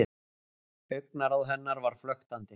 Augnaráð hennar var flöktandi.